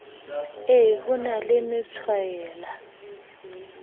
e ho na le methwaela